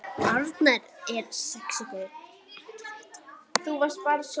Arnar er sexí gaur.